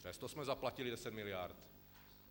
Přesto jsme zaplatili deset miliard.